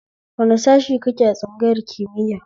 Wani sashe kake a tsangayar kimiya?